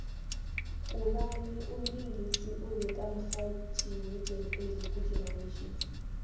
ngubawi umlingisi obeka mxhatjhiwe jam alley ku generations